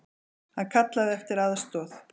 Hann kallaði eftir aðstoð.